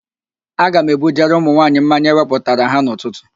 Aga m ebujere ụmụnwaanyị mmanya ewepụtara ha n'ụtụtụ